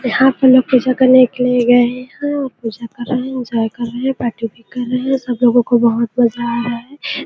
यहाँ पर लोग पूजा करने के लिए गए हुए है पूजा कर रहे है एन्जॉय कर रहे है पार्टी ऊटी कर रहे है सब लोगो को बहोत मज़ा आ रहा है।